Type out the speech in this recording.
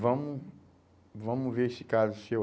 Vamos vamos ver esse caso seu.